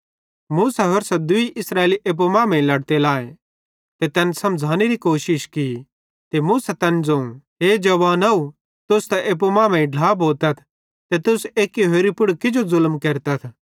मूसा होरसां दूई इस्राएली एप्पू मांमेइं लड़ते लाए ते तैन समझ़ानेरी कोशिश की ते मूसा तैन ज़ोवं हे जवानव तुस त एप्पू मांमेइं ढ्ला भोतथ ते तुस किजो एक्की होरि पुड़ ज़ुलम केरतथ